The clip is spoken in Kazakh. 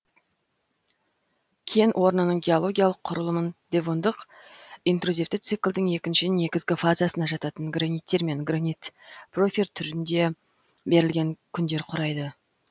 кен орнының геологиялық құрылымын девондық интрузивті циклдің екінші негізгі фазасына жататын граниттер мен гранит порфир түрінде берілген кендер құрайды